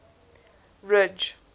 ridge